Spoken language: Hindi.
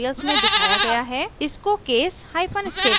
इसको case hyphen statement dot rb नाम दें